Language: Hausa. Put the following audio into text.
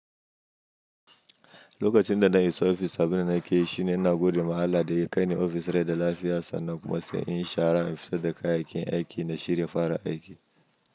Lokacin da na isa ofis saboda na kai shi ne na gode ma Allah da ya kai ni ofis da lafiya sannan kuma sai in shara in fita da kayakin aiki na shirya fara aiki.